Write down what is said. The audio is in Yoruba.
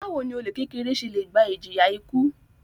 Báwo ni olè kékeré se le gba ìjìyà ikú?